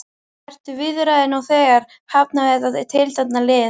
Eru viðræður nú þegar hafnar við þetta tiltekna lið?